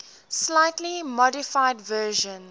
slightly modified version